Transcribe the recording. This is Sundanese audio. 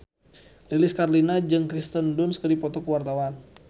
Lilis Karlina jeung Kirsten Dunst keur dipoto ku wartawan